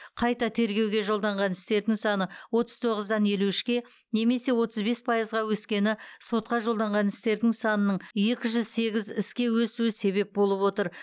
қайта тергеуге жолданған істердің саны отыз тоғыздан елу үшке немесе отыз бес пайызға өскені сотқа жолданған істердің санының екі жүз сегіз іске өсуі себеп болып отыр